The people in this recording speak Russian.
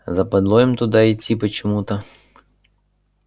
западло им туда идти почему-то